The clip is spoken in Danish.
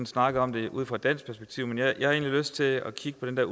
snakket om det ud fra et dansk perspektiv men jeg lyst til at kigge på den